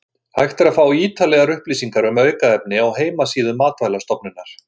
Hægt er að fá ítarlegar upplýsingar um aukefni á heimasíðu Matvælastofnunar.